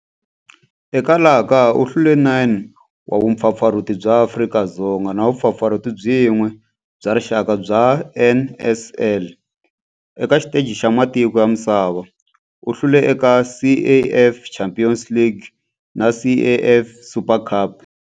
Eka laha kaya u hlule 9 wa vumpfampfarhuti bya Afrika-Dzonga na vumpfampfarhuti byin'we bya rixaka bya NSL. Eka xiteji xa matiko ya misava, u hlule eka CAF Champions League na CAF Super Cup.